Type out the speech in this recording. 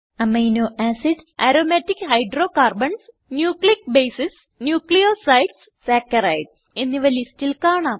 amino acids aromatic hydrocarbons nucleic bases nucleosides saccharides എന്നിവ ലിസ്റ്റിൽ കാണാം